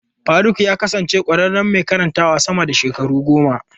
Faruk ya kasance ƙwararren mai karantawa sama da shekaru goma.